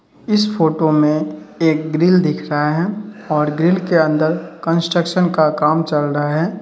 इस फोटो मे एक ग्रिल दिख रहा है ओर ग्रिल के अंदर कन्स्ट्रक्शन का काम चल रहा है।